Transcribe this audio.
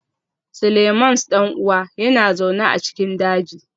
Seleimans ɗan'uwan yana zaune a cikin daji